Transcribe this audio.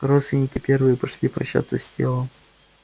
родственники первые пошли прощаться с телом